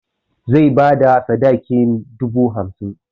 Zai bada sadakin dubu hamsin.